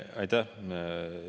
Aitäh!